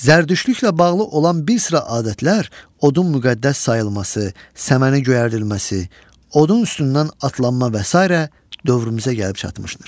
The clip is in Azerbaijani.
Zərdüştlüklə bağlı olan bir sıra adətlər, odun müqəddəs sayılması, səməni göyərdilməsi, odun üstündən atlanma və sairə dövrümüzə gəlib çatmışdır.